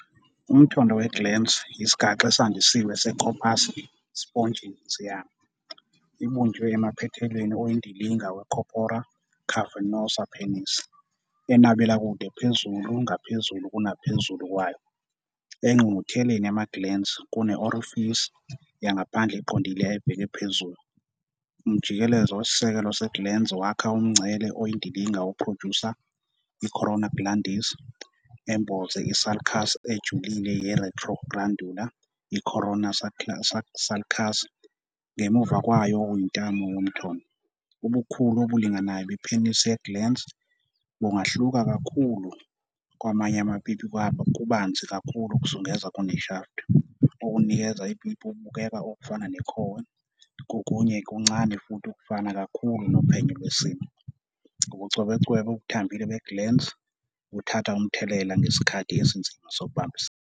Umthondo we-glans yisigaxa esandisiwe se- corpus spongiosum. Ibunjwe emaphethelweni oyindilinga we- corpora cavernosa penis, enabela kude phezulu ngaphezulu kunaphezulu kwayo. Engqungqutheleni yama-glans kune-orifice yangaphandle eqondile ebheke phezulu. Umjikelezo wesisekelo se-glans wakha umngcele oyindilinga wokuphrojusa, i- corona glandis, emboze i- sulcus ejulile ye-retroglandular, i- "coronal sulcus", ngemuva kwayo okuyintamo yomthondo. Ubukhulu obulinganayo bepenisi ye-glans bungahluka kakhulu. Kwamanye amapipi kubanzi kakhulu ukuzungeza kune-shaft, okunikeza ipipi ukubukeka okufana nekhowe, kokunye kuncane futhi kufana kakhulu nophenyo lwesimo. Ubucwebecwebe obuthambile be-glans buthatha umthelela ngesikhathi esinzima sokubambisana.